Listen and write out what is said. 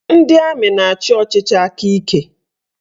Ndị amị na-achị ọchịchị aka ike